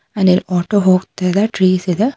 ಅಲ್ಲಿ ಮೋಟರ್ ಹೋಗ್ತಿದೆ ಟ್ರೀಸ್ ಇದೆ.